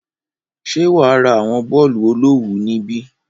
Ṣé wà á ra àwọn bọ́ọ̀lù olówùú níbí?